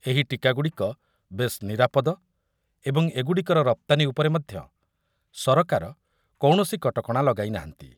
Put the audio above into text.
ଏହି ଟୀକାଗୁଡିକ ବେଶ୍ ନିରାପଦ ଏବଂ ଏଗୁଡିକର ରପ୍ତାନୀ ଉପରେ ମଧ୍ୟ ସରକାର କୌଣସି କଟକଣା ଲଗାଇନାହାନ୍ତି ।